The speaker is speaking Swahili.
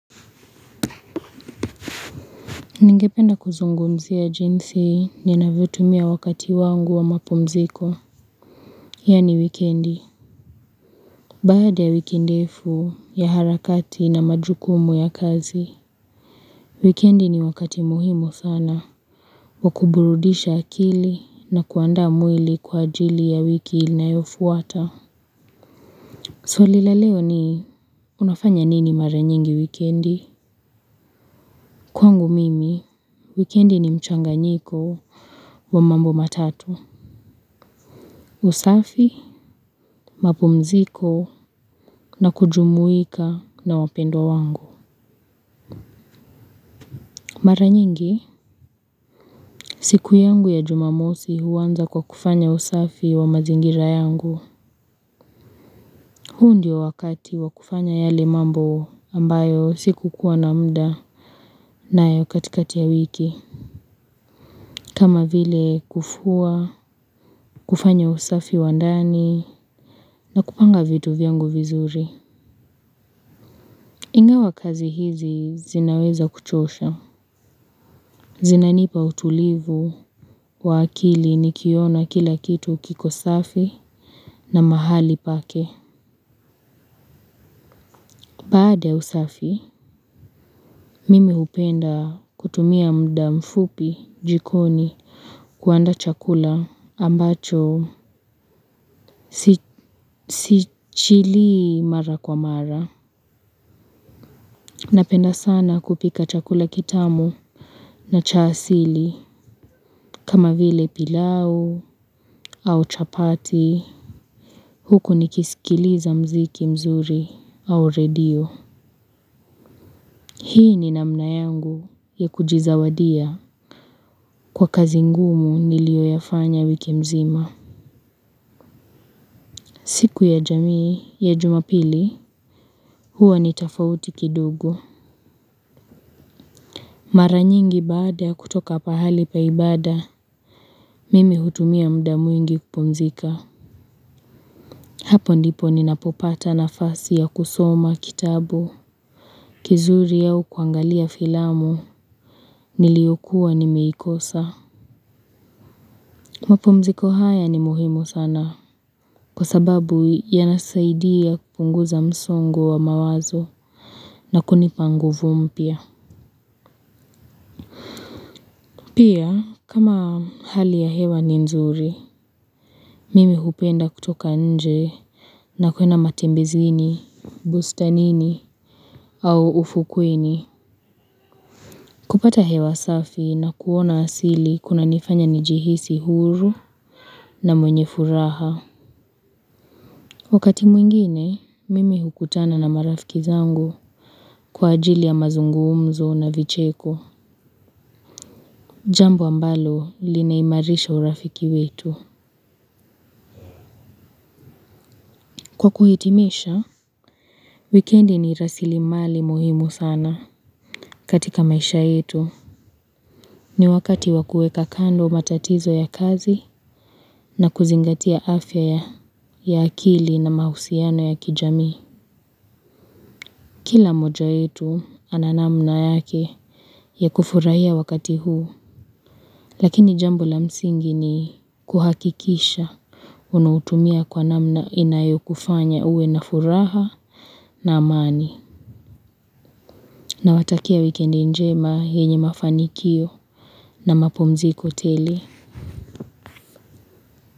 Ningependa kuzungumzia jinsi ninavyo ltumia wakati wangu wa mapumziko. Yaani wikendi. Baada ya wiki ndefu ya harakati na majukumu ya kazi. Wikendi ni wakati muhimu sana. Wa kuburudisha akili na kuandaa mwili kwa ajili ya wiki inayofuata. Swali la leo ni unafanya nini mara nyingi wikendi? Kwangu mimi, wikendi ni mchanganyiko wa mambo matatu. Usafi. Mapumziko na kujumuika na wapendwa wangu. Mara nyingi, siku yangu ya jumamosi huanza kwa kufanya usafi wa mazingira yangu. Huu ndio wakati wa kufanya yale mambo ambayo sikukuwa na mda nayo katikati ya wiki. Kama vile kufua, kufanya usafi wa ndani na kupanga vitu vyangu vizuri. Ingawa kazi hizi zinaweza kuchosha. Zinanipa utulivu wa akili nikiona kila kitu kiko safi na mahali pake. Baada ya usafi, mimi hupenda kutumia mda mfupi jikoni kuandaa chakula ambacho si chili mara kwa mara. Napenda sana kupika chakula kitamu na cha asili kama vile pilau au chapati. Huku nikisikiliza mziki mzuri au redio. Hii ni namna yangu ya kujizawadia kwa kazi ngumu niliyoyafanya wiki mzima. Siku ya jamii ya jumapili huwa ni tafauti kidogo. Mara nyingi baada ya kutoka pahali pa ibada. Mimi hutumia mda mwingi kupumzika. Hapo ndipo ninapopata nafasi ya kusoma kitabu kizuri au kuangalia filamu niliyokuwa nimeikosa. Mapumziko haya ni muhimu sana. Kwa sababu yanasaidia kupunguza msongo wa mawazo na kunipa nguvu mpia. Pia kama hali ya hewa ni nzuri mimi hupenda kutoka nje na kwenda matembezini Bustanini Au ufukweni kupata hewa safi na kuona asili kunanifanya njihisi huru na mwenye furaha. Wakati mwingine, mimi hukutana na marafiki zangu kwa ajili ya mazungumzo na vicheko. Jambo ambalo linaimarisha urafiki wetu. Kwa kuhitimisha, wikendi ni rasilimali muhimu sana. Katika maisha yetu, ni wakati wa kuweka kando matatizo ya kazi na kuzingatia afya ya akili na mahusiano ya kijamii. Kila mmoja wetu ana namna yake ya kufurahia wakati huu. Lakini jambo la msingi ni kuhakikisha unautumia kwa namna inayokufanya uwe na furaha na amani. Nawatakia wikendi njema yenye mafanikio na mapumziko tele.